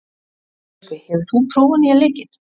Röskvi, hefur þú prófað nýja leikinn?